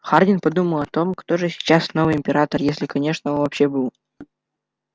хардин подумал о том кто же сейчас новый император если конечно он вообще был